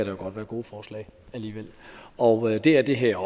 jo godt være gode forslag alligevel og det er det her